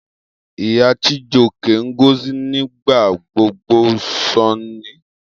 Iya Chijioke, Ngozi, nigbagbogbo sọ Nne.